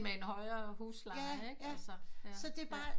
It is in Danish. Men med en højere husleje ikke altså